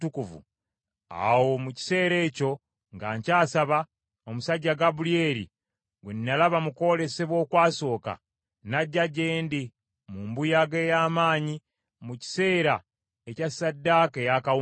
awo mu kiseera ekyo nga nkyasaba, omusajja Gabulyeri, gwe nalaba mu kwolesebwa okwasooka, n’ajja gye ndi mu mbuyaga ey’amaanyi mu kiseera ekya ssaddaaka ey’akawungeezi.